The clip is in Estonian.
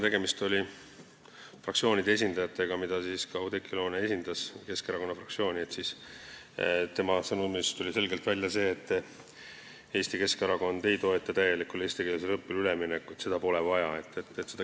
Tegemist oli fraktsioonide esindajatega ja ka Oudekki Loone esindas Keskerakonna fraktsiooni ning tema sõnumina tuli selgelt välja see, et Eesti Keskerakond ei toeta täielikule eestikeelsele õppele üleminekut, seda pole vaja.